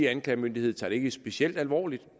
anklagemyndighed tager det ikke specielt alvorligt